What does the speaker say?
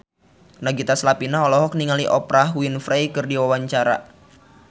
Nagita Slavina olohok ningali Oprah Winfrey keur diwawancara